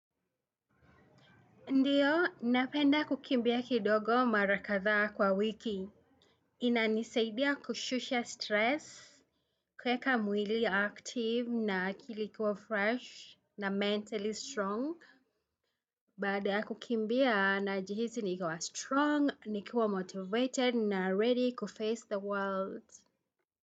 Ndiyo, napenda kukimbia kidogo mara kathaa kwa wiki. Inanisaidia kushusha stress, kuweka mwili active na akili kuwa fresh na mentally strong. Baada ya kukimbia najihihi nikiwa strong, nikiwa motivated na ready kuface the world.